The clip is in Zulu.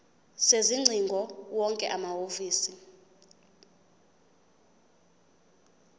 sezingcingo wonke amahhovisi